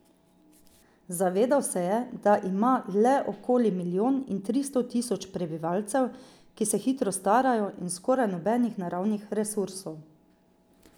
Zavedal se je, da ima le okoli milijon in tristo tisoč prebivalcev, ki se hitro starajo, in skoraj nobenih naravnih resursov.